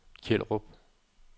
Kjellerup